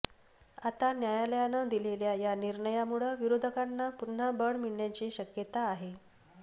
आता न्यायालयानं दिलेल्या या निर्णयामुळे विरोधकांना पुन्हा बळ मिळण्याची शक्यता आहे